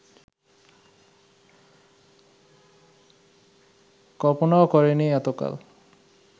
কল্পনাও করেনি এতকাল